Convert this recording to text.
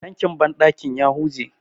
tankin bandakin ya huje